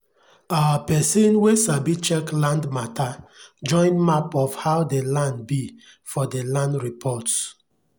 our pesin wen sabi check land mata join map of how dey land be for dey land reports